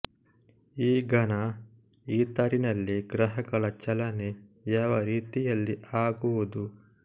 ಈ ಘನ ಈಥರಿನಲ್ಲಿ ಗ್ರಹಗಳ ಚಲನೆ ಯಾವ ರೀತಿಯಲ್ಲಿ ಆಗುವುದು